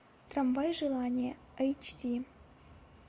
трамвай желания эйч ди